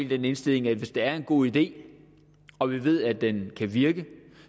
den indstilling at hvis der er en god idé og vi ved at den kan virke